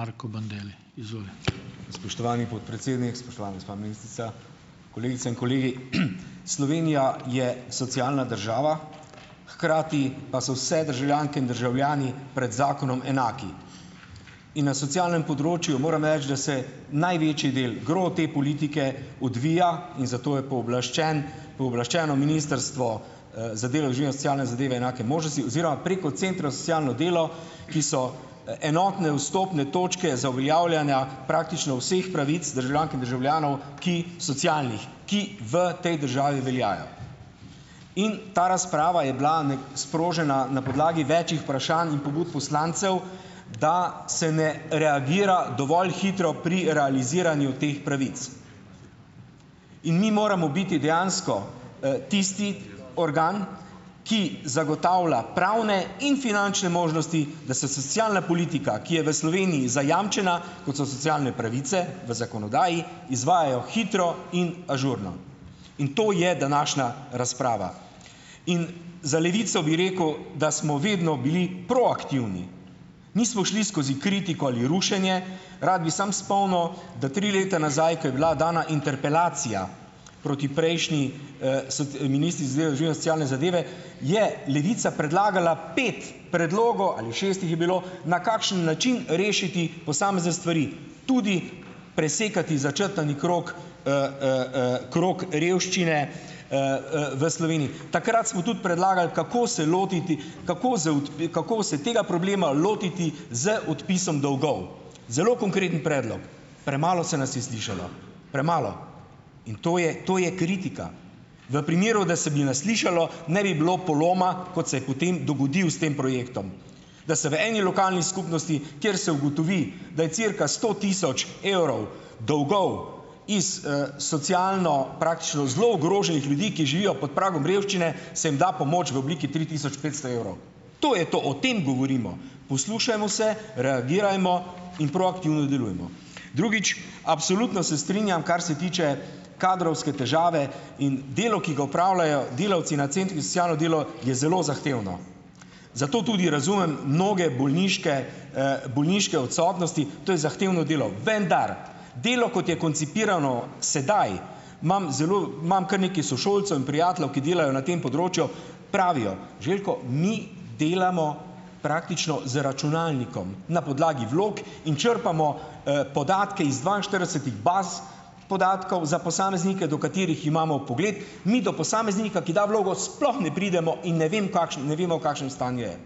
Marko Bandelli, izvoli. Spoštovani podpredsednik, spoštovana gospa ministrica, kolegice in kolegi. Slovenija je socialna država, hkrati pa so vse državljanke in državljani pred zakonom enaki. In na socialnem področju, morem reči, da se največji del te politike odvija in zato je pooblaščen, pooblaščeno ministrstvo, za delo, družino, socialne zadeve in enake možnosti oziroma preko centra za socialno delo, ki so, enotne vstopne točke za uveljavljanja praktično vseh pravic državljank in državljanov, ki, socialnih, ki v tej državi veljajo. In ta razprava je bila sprožena na podlagi večih vprašanj in pobud poslancev, da se ne reagira dovolj hitro pri realiziranju teh pravic. In mi moramo biti dejansko, tisti organ, ki zagotavlja pravne in finančne možnosti, da se socialna politika, ki je v Sloveniji zajamčena, kot so socialne pravice v zakonodaji, izvajajo hitro in ažurno. In to je današnja razprava. In za Levico bi rekel, da smo vedno bili proaktivni. Nismo šli skozi kritiko ali rušenje. Rad bi samo spomnil, da tri leta nazaj, ko je bila dana interpelacija proti prejšnji, so, ministri socialne zadeve, je Levica predlagala pet predlogov, ali šest jih je bilo, na kakšen način rešiti posamezne stvari. Tudi presekati začrtani krog, krog revščine, v Sloveniji. Takrat smo tudi predlagali, kako se lotiti, kako kako se tega problema lotiti z odpisom dolgov. Zelo konkreten predlog. Premalo se nas je slišalo . Premalo. In to je, to je kritika. V primeru, da se bi nas slišalo, ne bi bilo poloma, kot se po tem dogodil s tem projektom. Da se v eni lokalni skupnosti, kjer se ugotovi, da je cirka sto tisoč evrov dolgov, iz, socialno praktično zelo ogroženih ljudi, ki živijo pod pragom revščine, se jim da pomoč v obliki tri tisoč petsto evrov. To je to, o tem govorimo. Poslušajmo se, reagirajmo in proaktivno delujemo. Drugič, absolutno se strinjam, kar se tiče kadrovske težave in delo, ki ga opravljajo delavci na centrih za socialno delo, je zelo zahtevno. Zato tudi razumem mnoge bolniške, bolniške odsotnosti. To je zahtevno delo. Vendar! Delo, kot je koncipirano sedaj, imam zelo, imam kar nekaj sošolcev in prijateljev, ki delajo na tem področju, pravijo: "Željko, mi delamo praktično z računalnikom, na podlagi vlog in črpamo, podatke iz dvainštiridesetih baz podatkov za posameznike, do katerih imamo vpogled, mi do posameznika, ki da vlogo, sploh ne pridemo in ne vem v ne vemo, v kakšnem stanju je."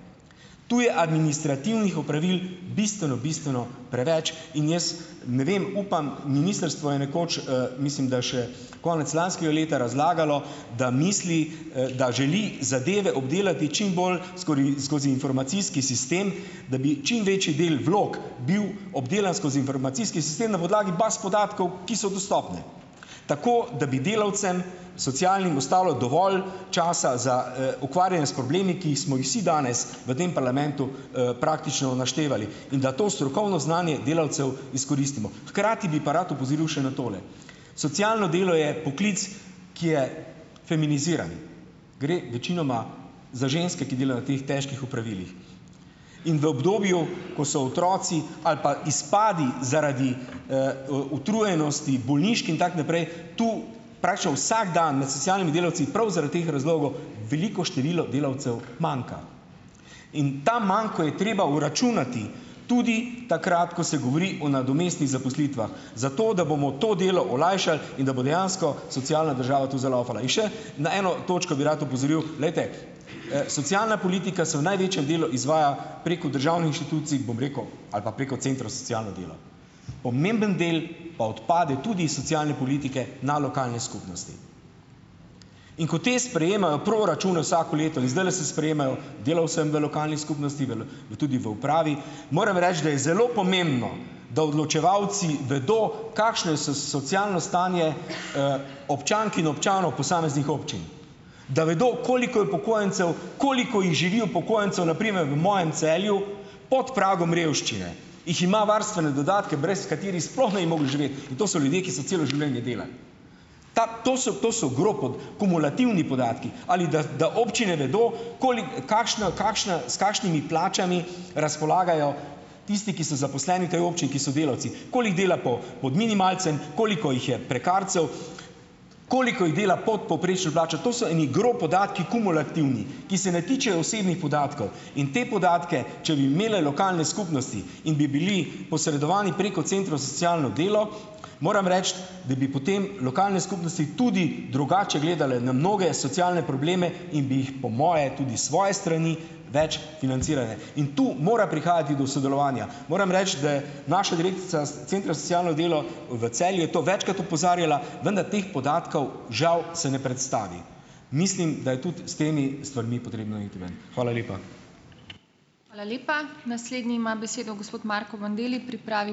Tu je administrativnih opravil bistveno, bistveno preveč in jaz, ne vem, upam, ministrstvo je nekoč, mislim, da še konec lanskega leta razlagalo, da misli, da želi zadeve obdelati čimbolj skozi informacijski sistem, da bi čimvečji del vlog bil obdelan skozi informacijski sistem na podlagi baz podatkov, ki so dostopne. Tako, da bi delavcem, socialnim ostalo dovolj časa za, ukvarjanje s problemi, ki smo jih vsi danes v tem parlamentu, praktično naštevali. In da to strokovno znanje delavcev izkoristimo. Hkrati bi pa rad opozoril še na tole. Socialno delo je poklic, ki je feminiziran. Gre večinoma za ženske, ki delajo v teh težkih opravilih. In v obdobju, ko so otroci, ali pa izpadi zaradi, utrujenosti, bolniških in tako naprej, tu praktično vsak dan med socialnimi delavci prav zaradi teh razlogov veliko število delavcev manjka. In ta manko je treba vračunati. Tudi takrat, ko se govori o nadomestnih zaposlitvah, zato, da bomo to delo olajšali in da bo dejansko socialna država tu zalavfala. In še na eno točko bi rad opozoril, glejte, socialna politika se v največjem delu izvaja preko državnih inštitucij, bom rekel, ali pa preko centrov za socialno delo. Pomemben del pa odpade tudi iz socialne politike na lokalne skupnosti. In ko te sprejemajo proračune vsako leto, in zdajle se sprejemajo delavcem v lokalni skupnosti, v in tudi v upravi, moram reči, da je zelo pomembno, da odločevalci vedo kakšno je socialno stanje, občank in občanov posameznih občin. Da vedo, koliko je upokojencev, koliko jih živi, upokojencev, na primer v mojem Celju, pod pragom revščine. Jih ima varstvene dodatke, brez katerih sploh ne bi mogel živeti. To so ljudje, ki so celo življenje delali. Ta, to so, to so , kumulativni podatki, ali da, da občine vedo, kakšna, kakšna, s kakšnimi plačami razpolagajo tisti, ki so zaposleni v tej občini, ki so delavci. jih dela pod minimalcem, koliko jih je prekarcev, koliko jih dela pod povprečno plačo, to so eni podatki, kumulativni, ki se ne tičejo osebnih podatkov. In te podatke, če bi imeli lokalne skupnosti in bi bili posredovani preko centrov za socialno delo, moram reči, da bi potem lokalne skupnosti tudi drugače gledale na mnoge socialne probleme in bi jih, po moje, tudi svoje strani več financirane. In tu mora prihajati do sodelovanja. Moram reči, da naša direktorica centra za socialno delo v Celju, je to večkrat opozarjala, da na teh podatkov, žal se ne predstavi. Mislim, da je tudi s temi stvarmi potrebno iti ven. Hvala lepa. Hvala lepa. Naslednji ima besedo gospod Marko Bandelli, pripravi ...